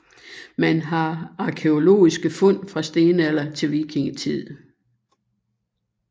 Man har arkæologiske fund fra stenalder til vikingetid